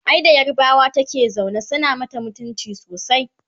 ai da yarbawa take zaune suna mata mutumci sosai